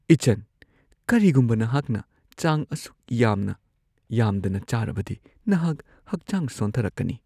ꯏꯆꯟ, ꯀꯔꯤꯒꯨꯝꯕ ꯅꯍꯥꯛꯅ ꯆꯥꯡ ꯑꯁꯨꯛ ꯌꯥꯝꯅ ꯌꯥꯝꯗꯅ ꯆꯥꯔꯕꯗꯤ ꯅꯍꯥꯛ ꯍꯛꯆꯥꯡ ꯁꯣꯟꯊꯔꯛꯀꯅꯤ꯫